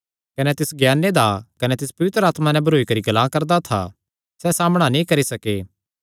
कने तिस ज्ञाने दा कने तिस पवित्र आत्मा दा नैं भरोई करी गल्लां करदा था सैह़ सामणा नीं करी सके